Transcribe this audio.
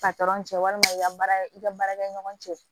patɔrɔn cɛ walima i ka baara i ka baarakɛɲɔgɔn cɛ